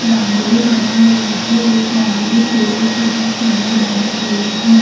रंगोली बना रही है एक रंगोली फूलो से बहोत सुंदर बनी हुई है।